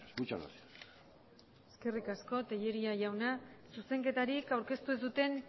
muchas gracias eskerrik asko tellería jauna zuzenketarik aurkeztu ez duten